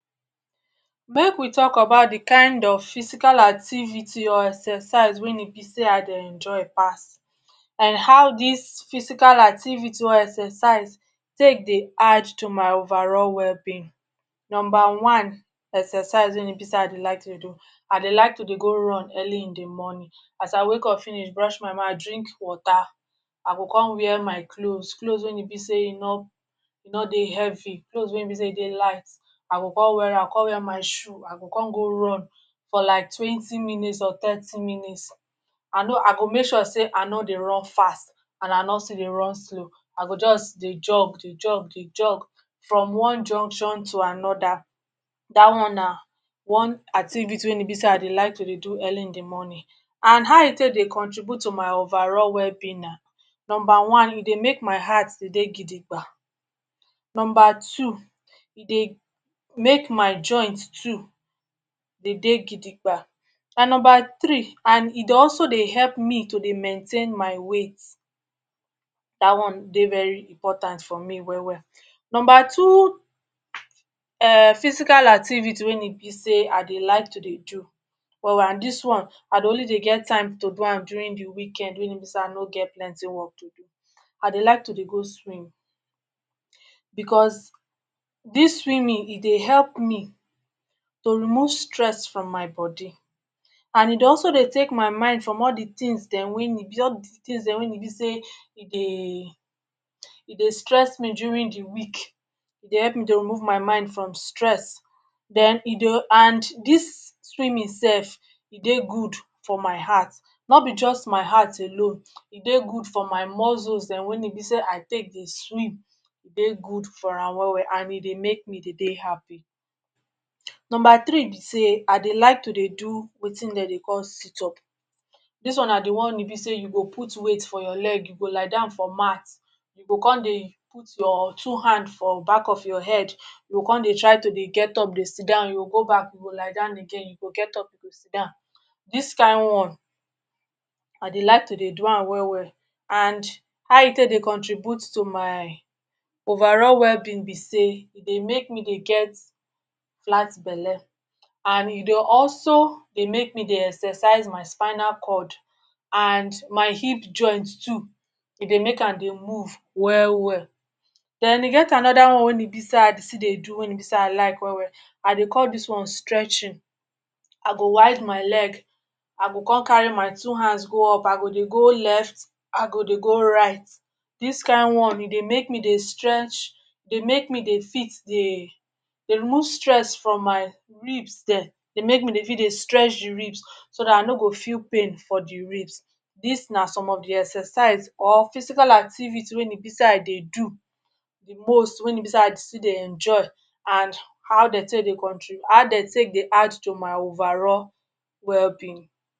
Make we talk about the kind of physical activity or exercise wen e be sey I dey enjoy a pass and how dis physical activity or exercise take dey add to my overall well-being. Number one, exercise wen e be sey i dey to dey do. I dey like to dey go run early in the morning. As I wake up finish brush my mouth, drink water, I go con wear my clothes. Clothes wen e be sey e no e no dey heavy. Clothes wen e bey sey e dey light. I go come wear, con wear my shoes. I go con go run for like twenty minutes or thirty minutes. I know I go make sure sey i no dey run fast and I no still dey run slow. I go just dey jog, dey jog, dey jog from one junction to anoda. Dat one na one activity wen e be sey i dey like to dey do early in the morning. And how e take dey contribute to my overall well-being na? Number one, e dey make my heart dey dey gidigba. Number two, e dey make my joint too dey dey gidigba. And number three and e dey also dey help me to dey maintain my weight. Dat one dey very important for me well well. Number two um physical activity wey me feel sey I dey like to dey do well and dis one i dey only dey get time to do am during the weekend wey e be sey i no get plenty work to do. I dey like to dey go swim because dis swimming e dey help me to remove stress from my body. And e dey also dey take my mind from all the things dem wen e all the things dem wey e be sey e dey e dey stress me during the week. E dey help me to remove my mind from stress. Den e dey and dis swimming self, e dey good for my heart. No be just my heart alone, e dey good for my muscles dem wey e be sey i take dey swim. E dey good for am well well and e dey make me dey dey happy. Number three be sey, I dey like to dey do wetin de dey call sit-up. Dis one na the one wen e be sey you go put weight for your leg. You go lie down for mat. You go con dey put your two hand for back of your head. You go con dey try to dey get up dey sit down oh. You go go back, you go lie down again. You go get up, you sit down. Dis kind one, I dey like to dey do am well well. And how e take dey contribute to my overall well-being be say, E dey make me dey get flat belle. And e dey also dey make me dey exercise my spinal cord and my hip joints too. E dey make am dey move well well. Den e get another one wen e be sey I dey do. Wen e be sey I like well well. I dey call dis one stretching. I go wide my leg. I go con carry my two hands go up. I go dey go left. I go dey go right. Dis kind one, e dey make me dey stretch, dey make me dey fit dey dey remove stress from my ribs dem, dey make me dey feel dey stretch the ribs. So dat I no go feel pain for the ribs. Dis na some of the exercise or physical activity wen e be sey I dey do. The most wen e be sey I still dey enjoy and how de take dey how de take dey add to my overall well-being.